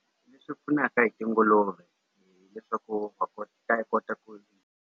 Swi pfunaka hi tinguluve hileswaku ta kota ku.